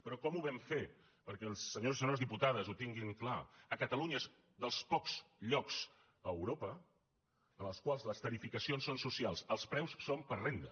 però com ho vam fer perquè els senyors i senyores diputades ho tinguin clar a catalunya és dels pocs llocs a europa en el qual les tarifacions són socials els preus són per renda